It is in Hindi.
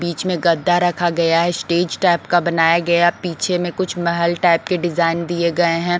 बीच में गद्दा रखा गया है स्टेज टाइप का बनाया गया पीछे में कुछ महल टाइप के डिजाईन दिए गये हैं ।